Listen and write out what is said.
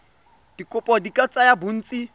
dikopo di ka tsaya bontsi